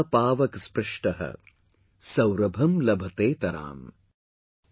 Pawak saprishta Saurabham labhteetrama ||